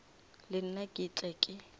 le nna ke tle ke